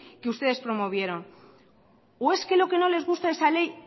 que ustedes promovieron o es que lo que no les gusta de esa ley